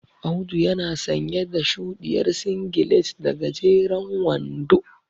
Audu yana sanye da shuɗiyar singilet da gajeren wando.